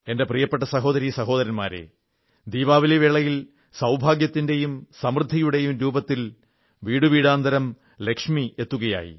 എന്റെ പ്രിയപ്പെട്ട സഹോദരീ സഹോദരന്മാരേ ദീപാവലി വേളയിൽ സൌഭാഗ്യത്തിന്റെയും സമൃദ്ധിയുടെയും രൂപത്തിൽ വീടുവീടാന്തരം ലക്ഷ്മി എത്തുകയായി